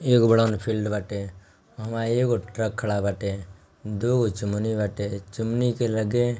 एक बड़ा गो ना फील्ड बाटे अ वहां एगो ट्रक खडा बाटे दो चुमनी बाटे चुमनी के लगे--